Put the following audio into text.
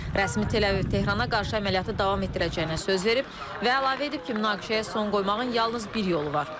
Rəsmi Tehran əməliyyatı davam etdirəcəyinə söz verib və əlavə edib ki, münaqişəyə son qoymağın yalnız bir yolu var.